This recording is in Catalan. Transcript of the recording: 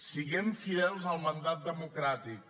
siguem fidels al mandat democràtic